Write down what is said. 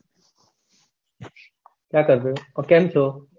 क्या कर रहे हो? , કેમ છો.